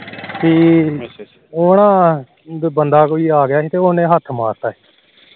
ਉਹ ਨਾ ਬੰਦਾ ਕੋਈ ਆ ਗਿਆ ਸੀ ਤੇ ਉਹਨੇ ਹੱਥ ਮਾਰਤਾ